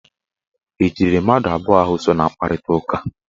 E jidere mmadụ abụọ ahụ so na mkparitaụka?